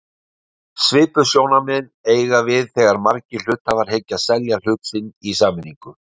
Svipuð sjónarmið eiga við þegar margir hluthafar hyggjast selja hluti sína í sameiningu.